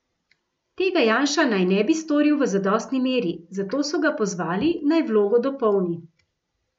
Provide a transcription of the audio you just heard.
Tega Janša naj ne bi storil v zadostni meri, zato so ga pozvali, naj vlogo dopolni.